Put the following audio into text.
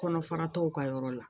Kɔnɔ fara tɔw ka yɔrɔ la